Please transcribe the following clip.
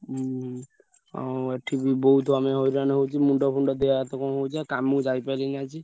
ଉଁ ଆମ ଏଠି ବି ବହୁତ ଆମେ ହଇରାଣ ହଉଛୁ ମୁଣ୍ଡ ଫୁଣ୍ଡ ଦେହ ହାତ କଣ ହଉଛି ଆଉ କାମକୁ ଯାଇପାରିଲିଣି ଆଜି।